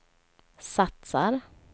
satsar